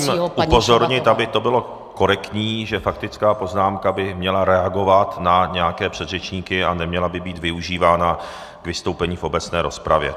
Já vás jenom musím upozornit, aby to bylo korektní, že faktická poznámka by měla reagovat na nějaké předřečníky a neměla by být využívána k vystoupení v obecné rozpravě.